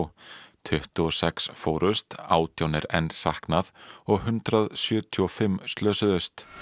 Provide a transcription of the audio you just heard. tuttugu og sex fórust átján er enn saknað og hundrað sjötíu og fimm slösuðust